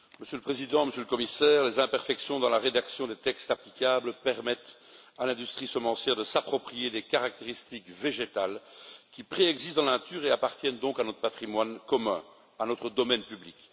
Monsieur le Président, Monsieur le Commissaire, les imperfections dans la rédaction des textes applicables permettent à l'industrie semencière de s'approprier des caractéristiques végétales qui préexistent dans la nature et appartiennent donc à notre patrimoine commun, à notre domaine public.